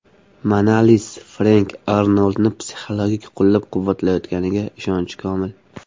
Manalis Frenk Arnoldni psixologik qo‘llab-quvvatlayotganiga ishonchi komil.